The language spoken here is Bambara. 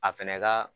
A fɛnɛ ka